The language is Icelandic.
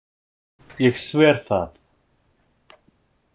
Ég sver það.